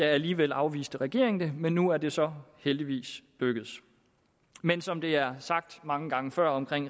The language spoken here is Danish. alligevel afviste regeringen det men nu er det så heldigvis lykkedes men som det er sagt mange gange før om